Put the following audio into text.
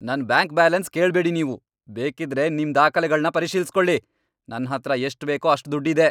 ನನ್ bank balance ಕೇಳ್ಬೇಡಿ ನೀವು. ಬೇಕಿದ್ರೆ ನಿಮ್ ದಾಖಲೆಗಳ್ನ ಪರಿಶೀಲ್ಸ್ಕೊಳಿ. ನನ್ಹತ್ರ ಎಷ್ಟ್ ಬೇಕೋ ಅಷ್ಟ್ ದುಡ್ಡ್ ಇದೆ.